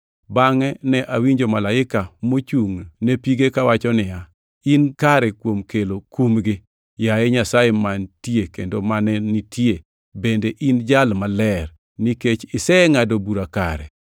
Bangʼe ne awinjo malaika mochungʼne pige kawacho niya, “In kare kuom kelo kumgi, yaye Nyasaye mantie kendo mane nitie bende in e Jal Maler, nikech isengʼado bura kare;